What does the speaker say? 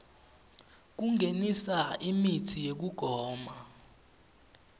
kungenisa imitsi yekugoma